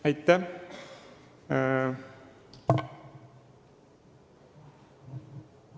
Aitäh!